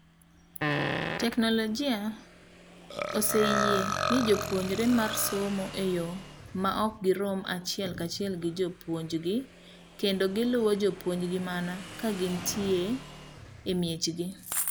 TTeknologia ese yie ne jopuonjre mar somo eyoo maok girom achiel kachiel gi jopuonj gi, kendo giluwo jopuonjgi mana kagintie emiechegi.